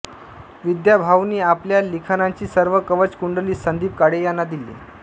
विद्याभाऊंनी आपल्या लिखानाची सर्व कवच कुंडली संदीप काळे यांना दिली